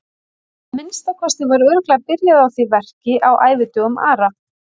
Að minnsta kosti var örugglega byrjað á því verki á ævidögum Ara.